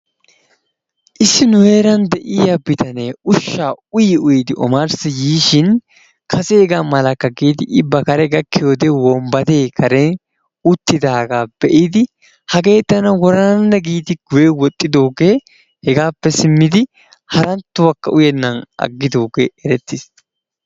Issi nu heeran de'iya bitanee ushshaa uyi uyidi omarssi yiishin kaseegaa malakka giidi yiidi I ba kare gakkishin wombbadee uttidaagaa be'idi hagee tana worananne giidi guyye woxxidoogee, hegaappe simmidi haranttuwakka uyennan aggidoogee erettiis.